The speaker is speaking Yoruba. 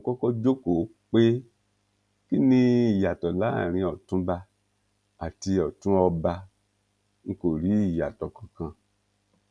mo kọkọ jókòó pé kí ni ìyàtọ láàrin ọtúnba àti ọtún ọba ń kó rí ìyàtọ kankan